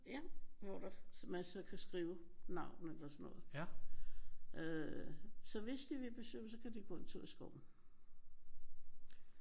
Ja. Hvor der man så kan skrive navn eller sådan noget. Øh så hvis de vil besøge mig så kan de gå en tur i skoven